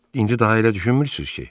İndi daha elə düşünmürsüz ki?